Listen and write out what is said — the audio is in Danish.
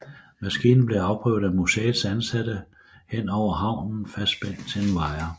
Maskinen blev afprøvet af museets ansatte henover havnen fastspændt til en wire